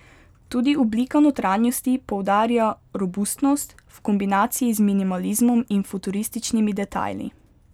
Tudi oblika notranjosti poudarja robustnost, v kombinaciji z minimalizmom in futurističnimi detajli.